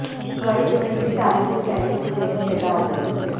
वहीं दुल्हन भी शादी से पहले ही दूल्हे पर फिदा हो गई